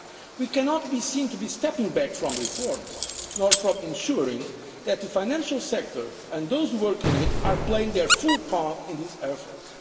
We cannot be seen to be stepping back from reforms or from ensuring that the financial sector and those who work in it are playing their full part in these efforts.